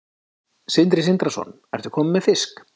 Sindri Sindrason: Ertu kominn með fisk?